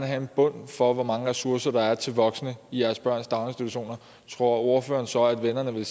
have en bund for hvor mange ressourcer der er til voksne i deres børns daginstitutioner tror ordføreren så at vennerne ville